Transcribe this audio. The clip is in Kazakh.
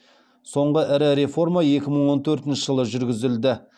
соңғы ірі реформа екі мың он төртінші жылы жүргізілді